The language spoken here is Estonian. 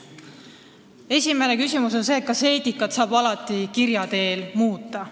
Esimene küsimus on see, kas eetikat saab alati kirja teel muuta.